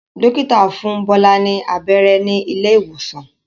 Dókítà fún Bola ní abẹ́rẹ́ ní ilé ìwòsàn.